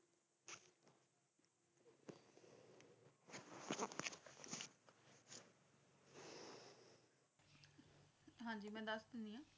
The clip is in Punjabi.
ਹਾਂਜੀ ਮੈਂ ਦੱਸ ਦੇਣੀ ਆ